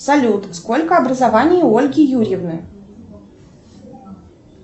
салют сколько образований у ольги юрьевны